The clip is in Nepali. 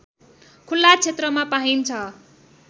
खुल्ला क्षेत्रमा पाइन्छ